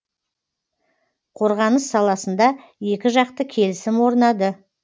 қорғаныс саласында екіжақты келісім орнады